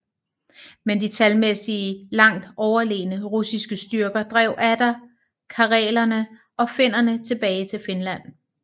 Men de talmæssigt langt overlegne russiske styrker drev atter karelerne og finnerne tilbage til Finland